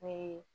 Ne ye